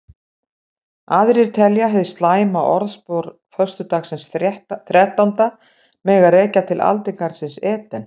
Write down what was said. Aðrir telja hið slæma orðspor föstudagsins þrettánda mega rekja til aldingarðsins Eden.